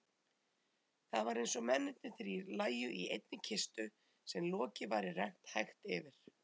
Það var einsog mennirnir þrír lægju í einni kistu sem loki væri rennt hægt yfir.